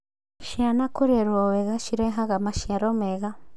Ciana kũrerwo wega cirehaga maciaro mega